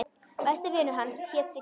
Besti vinur hans hét Siggi.